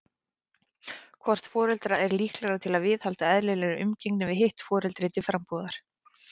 Hvort foreldra er líklegra til að viðhalda eðlilegri umgengni við hitt foreldri til frambúðar?